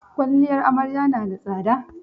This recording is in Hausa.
Kwalliyar amarya na da tsada.